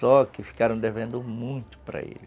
Só que ficaram devendo muito para ele.